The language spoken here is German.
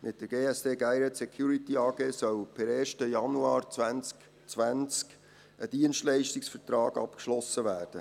Mit der GSD soll per 1. Januar 2020 ein Dienstleistungsvertrag abgeschlossen werden.